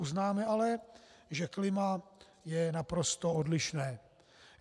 Uznáme ale, že klima je naprosto odlišné.